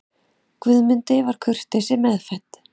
Guðmundi var kurteisi meðfædd.